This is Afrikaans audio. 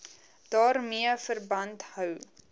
daarmee verband hou